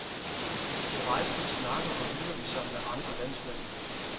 På rejsen snakker og hygger de sig med andre landsmænd.